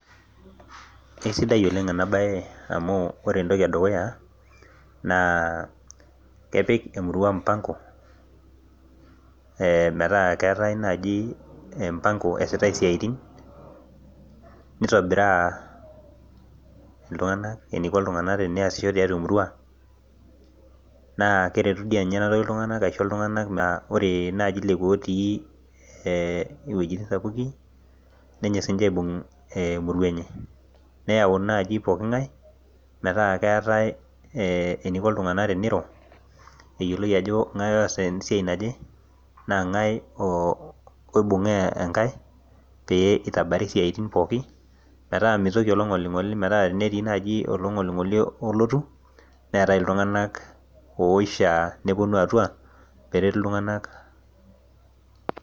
kesidai oleng' ena baye amu ore entoki edukuya naa kepik emurua mupango, meetaa keetae naaji mupango esitae isiaitin, nitobiraa iltung'anak eniko teyasisho temurua, naa keretu dii enatoki iltung'anak metaa ore naaji lekua otii iwejitin sapuki nenyok siiniche aibung' emurua enye, neyau naaji poki ng'ae meetaa keetae eniko iltung'anak teneiro, eyioloi ajo ng'ae oosita esiai enye, naa ng'ae oibung'aa engae pee itabari siaitin ainei pooki meeta telo ninye nelotu olong'oling'oli olotu neetae itung'anak oishaa nepuonu atua pee eretu iltung'anak.